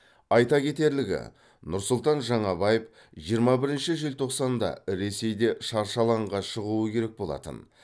айта кетерлігі нұрсұлтан жаңабаев жиырма бірінші желтоқсанда ресейде шаршы алаңға шығуы керек болатын